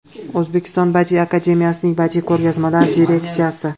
O‘zbekiston Badiiy akademiyasining badiiy ko‘rgazmalar direksiyasi.